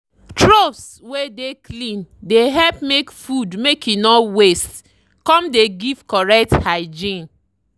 troughs wey dey clean dey help make food make e no waste come dey give correct hygiene.